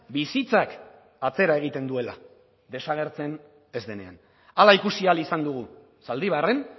bizitzak atzera egiten duela desagertzen ez denean hala ikusi ahal izan dugu zaldibarren